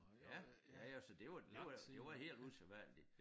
Ja ja ja så det var det var det var helt usædvanligt